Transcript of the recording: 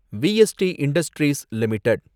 VST industries limited